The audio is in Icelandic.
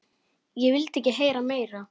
Ég vildi ekki heyra meira.